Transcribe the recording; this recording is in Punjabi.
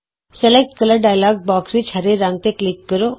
ਰੰਗ ਚੌਣ ਡਾਇਲੋਗ ਬੌਕਸ ਵਿਚ ਹਰੇ ਰੰਗ ਤੇ ਕਲਿਕ ਕਰੋ